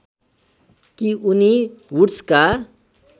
कि उनी वुड्सका